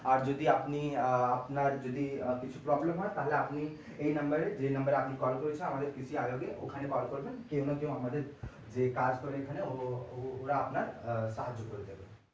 আর যদি আপনি আপনার যদি কিছু problem হয় আপনি এই number এ যে number এ আমি call করেছেন আমাদের কৃষি বিভাগের ওখানে call করবেন কেউ না কেউ আমাদের যে কাজ করে এখানে ওরা আপনার সাহায্য করে দেবে।